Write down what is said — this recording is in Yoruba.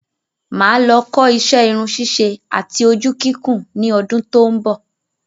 Máà lọ kó isẹ́ irun ṣíṣe àti ojú kíkùn ní ọdún tó ń bò